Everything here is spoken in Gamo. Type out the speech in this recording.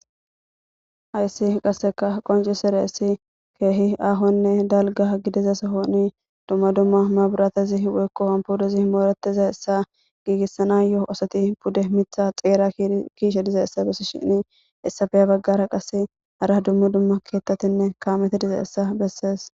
hayssi qasseka qonci sere essi keehi aahonne dalga gidiza sohoni dumma dumma maburatezi weykkohon pudezi mooretiza essa giigissana yoo osoti pudde mitha xeera kiishe diza essa bessi shini essafeya baggara qase hara dummu dumma keettatinne kaamete diza essa bessees